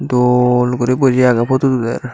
dol gori boji ageh photot uder.